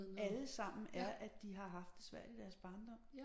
Alle sammen er at de har haft det svært i deres barndom